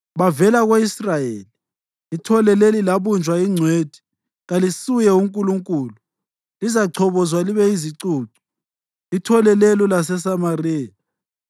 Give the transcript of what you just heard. Bavela ko-Israyeli! Ithole leli labunjwa yingcwethi; kalisuye Nkulunkulu. Lizachobozwa libe yizicucu, ithole lelo laseSamariya.